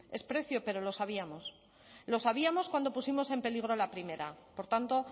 es precio pero lo sabíamos lo sabíamos cuando pusimos en peligro la primera por tanto